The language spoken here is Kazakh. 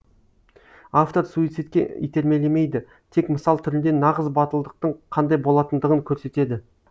автор суицидке итермелемейді тек мысал түрінде нағыз батылдықтың қандай болатындығын көрсетеді